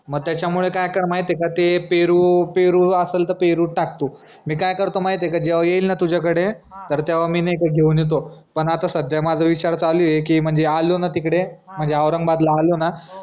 म त्याच्यामुळं काय कर माहितीय का ते पेरू पेरू आसल त पेरू ताक तू मी काय करतो माहितीय का जेव्हा येईल ना तुझ्याकडे तर तेव्हा मी नाई का घेऊन येतो पन आता सध्या माझा विचार चालू ए की म्हनजे आलो ना तिकडे म्हनजे औरंगाबादला आलो ना